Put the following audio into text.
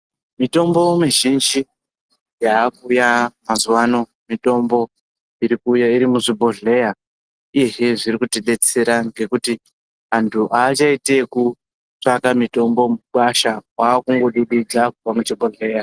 Mitombo mizhinji yakuuya mazuva ano mitombo irikuuya iri muzvibhodhleya. Izvi zviri kutibetsera ngekuti antu haachaiti ekutsvaka mitombo mukwasha kwakungodudodza muchibhodhleya.